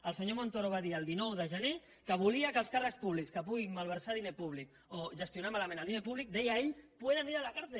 el senyor montoro va dir el dinou de gener que volia que els càrrecs públics que puguin malversar diner públic o gestionar malament el diner públic deia ell puedan ir a la cárcel